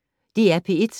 DR P1